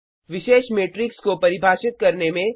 विशेष matrix को परिभाषित करने में